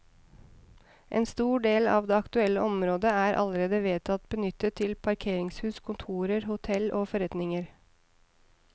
En stor del av det aktuelle området er allerede vedtatt benyttet til parkeringshus, kontorer, hotell og forretninger.